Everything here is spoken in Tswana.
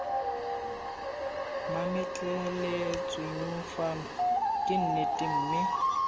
mametleletsweng fano ke nnete mme